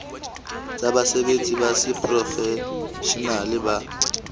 tsa basebetsi ba seprofeshenale ba